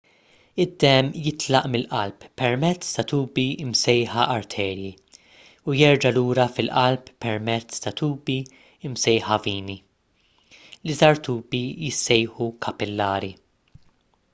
id-demm jitlaq mill-qalb permezz ta' tubi msejħa arterji u jerġa' lura fil-qalb permezz ta' tubi msejħa vini l-iżgħar tubi jissejħu kapillari